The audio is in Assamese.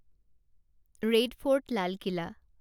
ৰেড ফৰ্ট লাল কিলা